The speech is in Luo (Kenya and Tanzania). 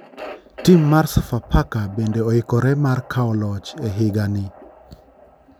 Tim mar sofafaka bende oikore mar kawo loch e higa ni.